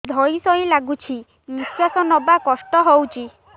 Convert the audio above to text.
ଧଇଁ ସଇଁ ଲାଗୁଛି ନିଃଶ୍ୱାସ ନବା କଷ୍ଟ ହଉଚି